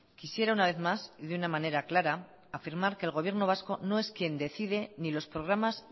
quisiera una vez más y de una manera clara afirmar que el gobierno vasco no es quien decide ni los programas